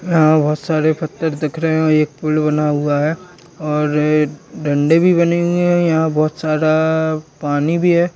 यहां बहोत सारे फत्तर दिख रहे हैं और एक पुल भी बना हुआ है और डंडे भी बने हुए हैं। यहां बहोत सारा पानी भी है।